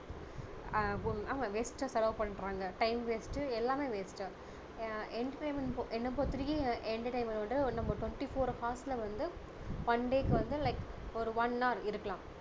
ஆஹ் waste டா செலவு பண்றாங்க time waste டு எல்லாமே waste டு அஹ் entertainment என்னை பொறுத்த வரைக்கும் entertainment வந்து நம்ம twenty four hours ல வந்து one day க்கு வந்து like ஒரு one hour இருக்கலாம்